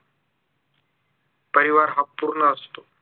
परिवार हा पूर्ण असतो